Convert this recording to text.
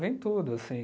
Vem tudo assim